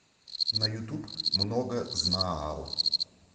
на ютуб многознаал